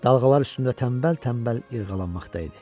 Dalğalar üstündə tənbəl-tənbəl yırğalanmaqda idi.